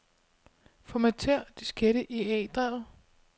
Formater diskette i A-drevet.